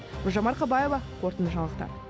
гүлжан марқабаева қорытынды жаңалықтар